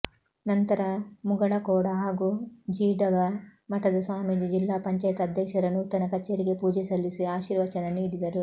ನಂತರ ಮುಗಳಖೋಡ ಹಾಗೂ ಜೀಡಗಾ ಮಠದ ಸ್ವಾಮೀಜಿ ಜಿಲ್ಲಾ ಪಂಚಾಯತ್ ಅಧ್ಯಕ್ಷರ ನೂತನ ಕಚೇರಿಗೆ ಪೂಜೆ ಸಲ್ಲಿಸಿ ಆಶಿರ್ವಚನ ನೀಡಿದರು